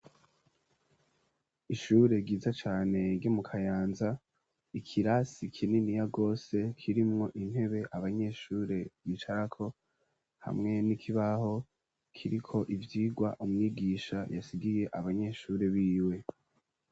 Ishure ryiza cane ryo mu kayanza ,ikirasi kininiya gose kirimwo intebe abanyeshure bicarako hamwe n'ikibaho kiriko ivyigwa umwigisha yasigiye abanyeshure biwe.